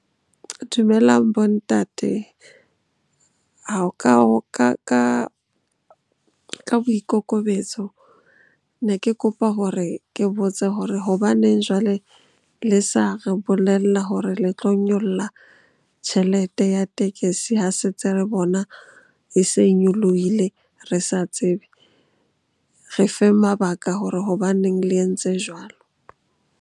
Dumelang bo ntate ka boikokobetso ne ke kopa hore ke botse hore hobaneng jwale le sa re bolella hore le tlo nyolla tjhelete ya tekesi ha se ntse re bona e se nyolohile re sa tsebe. Re feng mabaka hore hobaneng le entse jwalo.